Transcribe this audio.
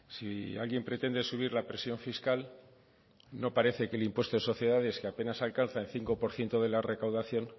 si alguien pretende subir la presión fiscal no parece que el impuesto de sociedades que apenas alcanza el cinco por ciento de la recaudación